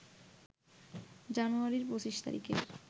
জানুয়ারির ২৫ তারিখের